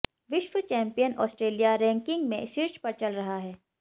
विश्व champion Australia ranking में शीर्ष पर चल रहा है